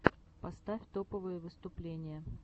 поставь топовые выступления